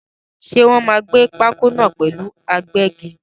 Ṣé Wòn máa gbẹ́ pákó náà pẹ̀lú agbẹ́gi?